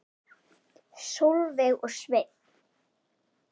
Sólveig og Sveinn.